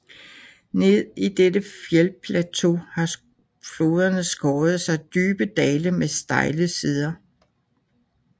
Ned i dette fjeldplateau har floderne skåret sig dybe dale med stejle sider